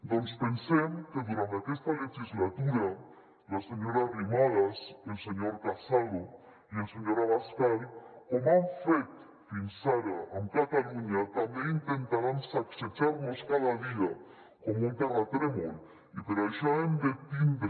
doncs pensem que durant aquesta legislatura la senyora arrimadas el senyor casado i el senyor abascal com han fet fins ara amb catalunya també intentaran sacsejar nos cada dia com un terratrèmol i per això hem de tindre